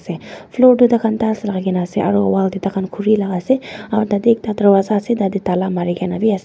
floor toh taikhan tiles lakaikae na ase aro wall takan khuri laka ase aro tatey ekta darwaza biase tatey tala marikaena bi ase.